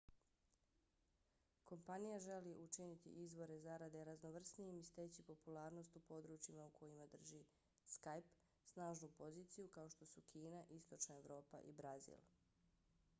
kompanija želi učiniti izvore zarade raznovrsnijim i steći popularnost u područjima u kojima skype drži snažnu poziciju kao što su kina istočna evropa i brazil